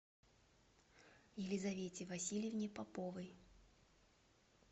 елизовете васильевне поповой